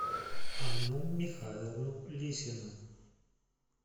анну михайловну лисину